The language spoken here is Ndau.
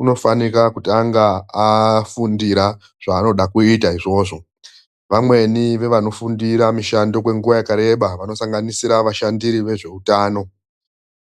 unofanika kutanga afundira zvaanoda kuita izvozvo. Vamweni vevanofundira mushando kwenguva yakareba vanosanganisira vashandiri vezveutano.